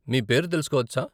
మీ పేరు తెలుసుకోవచ్చా?